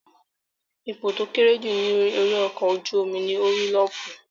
Ipò tó kéré jù ní orí ọkọ̀ ojú-omi ní Orílọ́pù